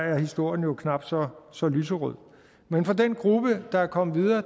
er historien knap så så lyserød men for den gruppe der er kommet videre